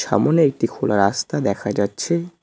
সামোনে একটি খোলা রাস্তা দেখা যাচ্ছে।